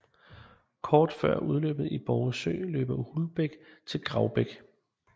Kort før udløbet i Borre Sø løber Hulbæk til Gravbæk